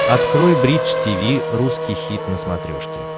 открой бридж тиви русский хит на смотрешке